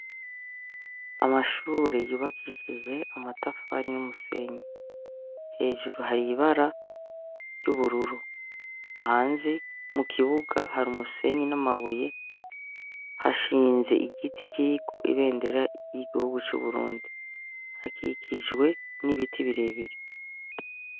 Amashure yubakishije amatafari n'umusenyi. Hejuru hari ibara ry'ubururu. Hanze, mu kibuga, hari umusenyi n'amabuye, hashinze igiti kiriko ibendera ry'igihugu c'uburundi. Hakikijwe n'ibiti birebire.